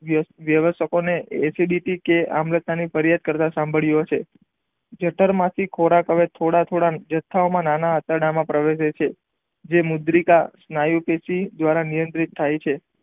વ્યવસકો ને એસીડીટી કે અંગત ની ફરિયાદ કરવા સભારીયો છે જઠર માંથી ખોરાક હવે થોડા થોડા નાના આંતરડા માં પ્રવેશે છે જે મુદ્રિકા સ્નાયુ પેસી દ્વારા નિયંત્રિત થાય છે.